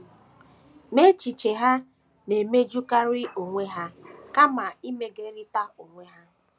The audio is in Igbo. Ma, echiche ha na - emejukarị onwe ha kama imegiderịta onwe ha.